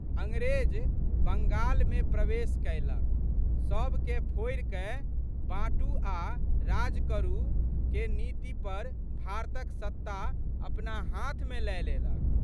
अंग्रेज बंगालमे प्रवेश कएलक। सबके फोड़िकए बाँटू आ' राज करु'क नीति पर भारतक सत्ता अपना हाथमे लए लेलक।